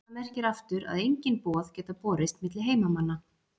Það merkir aftur að engin boð geta borist milli heimanna.